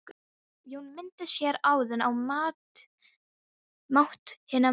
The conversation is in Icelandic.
Jón minntist hér áðan á mátt hinna mörgu.